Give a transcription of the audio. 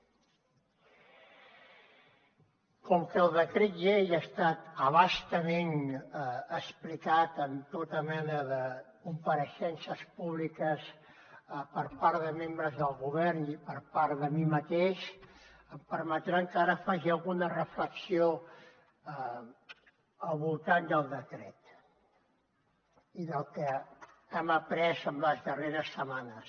com que el decret llei ha estat a bastament explicat amb tota mena de compareixences públiques per part de membres del govern i per part de mi mateix em permetran que ara faci alguna reflexió al voltant del decret i del que hem après en les darreres setmanes